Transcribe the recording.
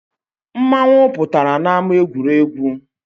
Mmanwu pụtara n’ama egwuregwu